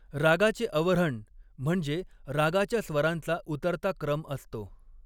रागाचे अवऱ्हण म्हणजे रागाच्या स्वरांचा उतरता क्रम असतो.